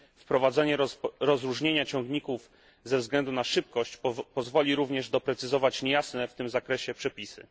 Wprowadzenie rozróżnienia ciągników ze względu na szybkość pozwoli również doprecyzować niejasne w tym zakresie przepisy.